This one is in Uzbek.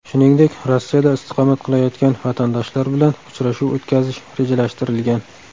Shuningdek, Rossiyada istiqomat qilayotgan vatandoshlar bilan uchrashuv o‘tkazish rejalashtirilgan.